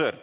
Aivar Sõerd,